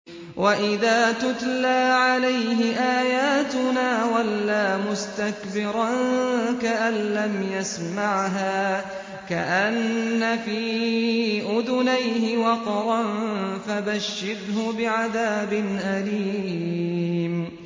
وَإِذَا تُتْلَىٰ عَلَيْهِ آيَاتُنَا وَلَّىٰ مُسْتَكْبِرًا كَأَن لَّمْ يَسْمَعْهَا كَأَنَّ فِي أُذُنَيْهِ وَقْرًا ۖ فَبَشِّرْهُ بِعَذَابٍ أَلِيمٍ